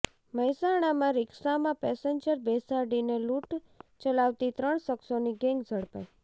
મહેસાણામાં રિક્ષામાં પેસેન્જર બેસાડીને લૂંટ ચલાવતી ત્રણ શખ્સોની ગેંગ ઝડપાઈ